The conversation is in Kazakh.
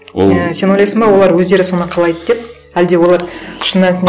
ол сен ойлайсың ба олар өздері соны қалайды деп әлде олар шын мәнісінде